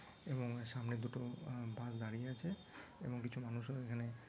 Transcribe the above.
এবং সামনে দুটো আ বাস দাঁড়িয়ে আছে এবং কিছু মানুষ ও এখানে--